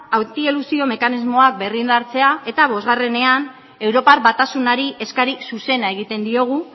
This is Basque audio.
mekanismoa berrindartzea eta bosgarrenean europar batasunari eskari zuzena egiten diogu